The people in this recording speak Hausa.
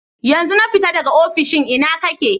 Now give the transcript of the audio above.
Yanzun na fita daga ofishin, ina ka ke?